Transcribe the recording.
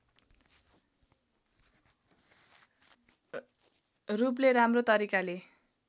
रूपले राम्रो तरिकाले